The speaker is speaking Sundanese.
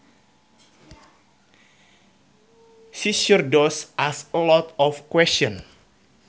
She sure does ask a lot of questions